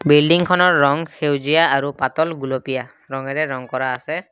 বিল্ডিংখনৰ ৰং সেউজীয়া আৰু পাতল গুলপীয়া ৰঙেৰে ৰং কৰা আছে।